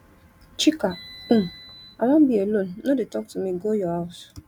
chika um i wan be alone no dey talk to me go your house